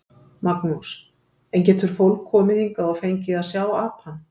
Magnús: En getur fólk komið hingað og fengið að sjá apann?